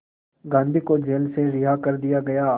गांधी को जेल से रिहा कर दिया गया